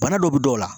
Bana dɔ bɛ dɔw la